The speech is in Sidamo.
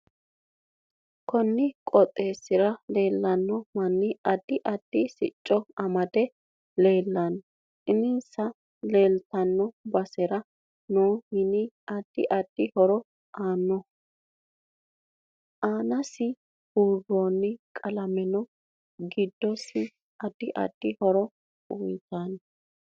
Konni qooxeesira leelanno manni addi addi sicco amade leelannno insa leeltanno basera noo mini adid addi horo aannoho aanasi buurooni qalame giddose addi addi horo uyiitanote